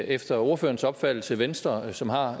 efter ordførerens opfattelse venstre som har